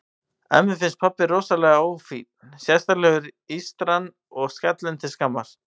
Ömmu finnst pabbi rosalega ófínn, sérstaklega ístran og skallinn til skammar.